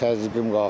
təzyiqim qalxır.